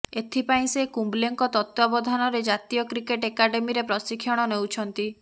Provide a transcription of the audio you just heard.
ଏଥିପାଇଁ ସେ କୁମ୍ବଲେଙ୍କ ତତ୍ତ୍ୱାବଧାନରେ ଜାତୀୟ କ୍ରିକେଟ ଏକାଡେମୀରେ ପ୍ରଶିକ୍ଷଣ ନେଉଛନ୍ତି